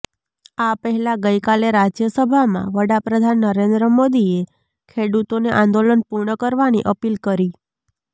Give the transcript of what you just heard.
આ પહેલા ગઇકાલે રાજ્યસભામાં વડાપ્રધાન નરેન્દ્ર મોદીએ ખેડૂતોને આંદોલન પૂર્ણ કરવાની અપીલ કરી